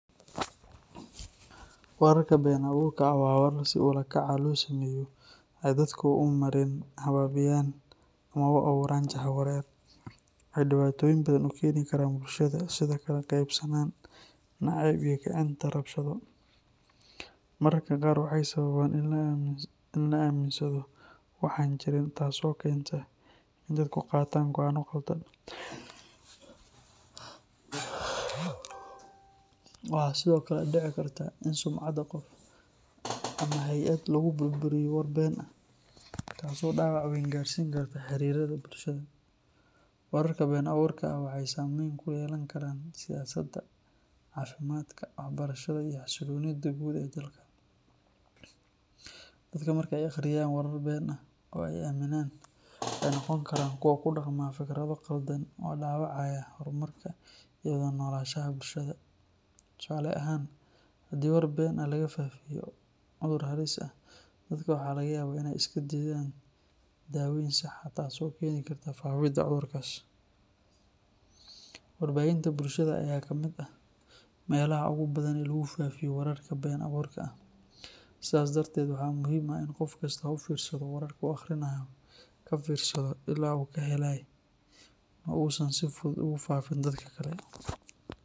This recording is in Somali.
Wararka been abuurka ah waa warar si ula kac ah loo sameeyo si ay dadka u marin habaabiyaan ama u abuuraan jahawareer. Waxay dhibaatooyin badan u keeni karaan bulshada, sida kala qaybsanaan, nacayb, iyo kicinta rabshado. Mararka qaar waxay sababaan in la aaminsado wax aan jirin taas oo keenta in dadku qaataan go’aano khaldan. Waxaa sidoo kale dhici karta in sumcadda qof ama hay’ad lagu burburiyo war been ah, taas oo dhaawac weyn gaarsiin karta xiriirrada bulshada. Wararka been abuurka ah waxay saameyn ku yeelan karaan siyaasadda, caafimaadka, waxbarashada iyo xasilloonida guud ee dalka. Dadka marka ay akhriyaan warar been ah oo ay aaminaan, waxay noqon karaan kuwo ku dhaqma fikrado qaldan oo dhaawacaya horumarka iyo wada noolaanshaha bulshada. Tusaale ahaan, haddii war been ah laga faafiyo cudur halis ah, dadka waxaa laga yaabaa inay iska diidaan daaweyn sax ah taas oo keeni karta faafidda cudurkaas. Warbaahinta bulshada ayaa ka mid ah meelaha ugu badan ee lagu faafiyo wararka been abuurka ah. Sidaa darteed, waxaa muhiim ah in qof kastaa u fiirsado wararka uu akhrinayo, ka fiirsado ilaha uu ka helay, oo uusan si fudud ugu faafin dadka kale.